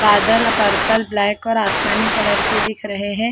बादल purple black और आसमानी कलर के दिख रहे हैं ।